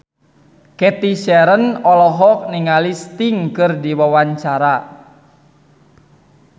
Cathy Sharon olohok ningali Sting keur diwawancara